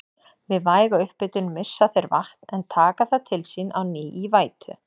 Við væga upphitun missa þeir vatn en taka það til sín á ný í vætu.